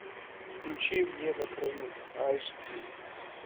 включи мне на краю аш ди